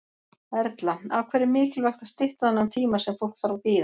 Erla: Af hverju er mikilvægt að stytta þennan tíma sem fólk þarf að bíða?